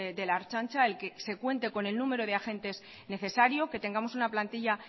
de la ertzaintza el que se cuente con el número de agentes necesario que tengamos una plantilla